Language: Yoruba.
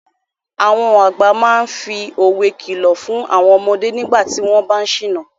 Àwọn àgbà máa ń fi òwe kìlọ̀ fún àwọn ọmọdé nígbà tí wọ́n bá ń ṣìnà.